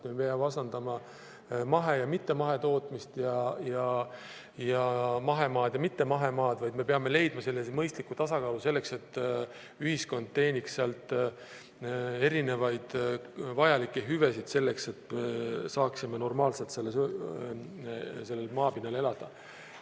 Me ei pea vastandama mahe- ja mittemahetootmist, mahemaad ja mittemahemaad, vaid me peame leidma mõistliku tasakaalu selleks, et ühiskond teeniks sealt erinevaid vajalikke hüvesid selleks, et saaksime normaalselt sellel maapinnal elada.